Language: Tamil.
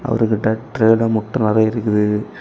அவரது டக் ட்ரேல முட்டை நறைய இருக்குது.